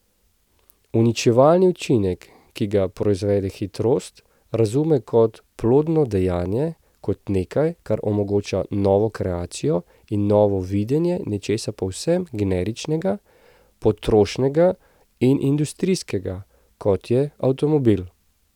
Uničevalni učinek, ki ga proizvede hitrost, razume kot plodno dejanje, kot nekaj, kar omogoča novo kreacijo in novo videnje nečesa povsem generičnega, potrošnega in industrijskega, kot je avtomobil.